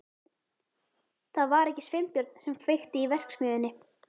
Það var ekki Sveinbjörn sem kveikti í verksmiðjunni.